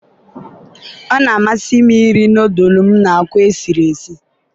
ọ na-amasị m iri nọdụlụ m na akwa sie.